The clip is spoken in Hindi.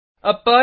अब पर्ल